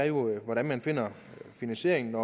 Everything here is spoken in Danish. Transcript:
jo hvordan man finder finansieringen